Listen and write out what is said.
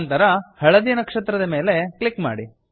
ನಂತರ ಹಳದಿ ನಕ್ಷತ್ರದ ಮೇಲೆ ಕ್ಲಿಕ್ ಮಾಡಿ